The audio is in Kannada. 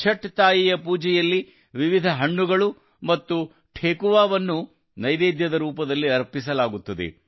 ಛಠ್ ತಾಯಿಯ ಪೂಜೆಯಲ್ಲಿ ವಿವಿಧ ಹಣ್ಣುಗಳು ಮತ್ತು ಠೆಕುವಾವನ್ನು ನೈವೇದ್ಯದ ರೂಪದಲ್ಲಿ ಅರ್ಪಿಸಲಾಗುತ್ತದೆ